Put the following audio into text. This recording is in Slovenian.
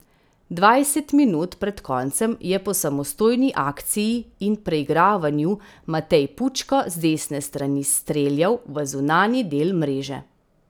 Dvajset minut pred koncem je po samostojni akciji in preigravanju Matej Pučko z desne strani streljal v zunanji del mreže.